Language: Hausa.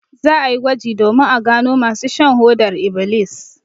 Za a yi gwaji domin a gano masu shan hodar ibilis.